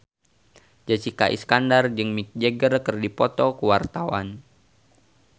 Jessica Iskandar jeung Mick Jagger keur dipoto ku wartawan